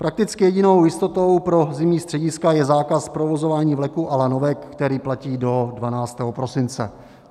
Prakticky jedinou jistotou pro zimní střediska je zákaz provozování vleků a lanovek, který platí do 12. prosince.